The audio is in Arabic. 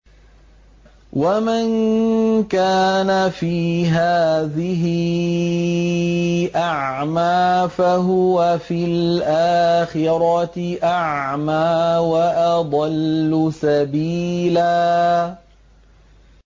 وَمَن كَانَ فِي هَٰذِهِ أَعْمَىٰ فَهُوَ فِي الْآخِرَةِ أَعْمَىٰ وَأَضَلُّ سَبِيلًا